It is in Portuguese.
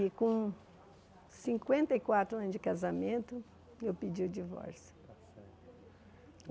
E com cinquenta e quatro anos de casamento, eu pedi o divórcio.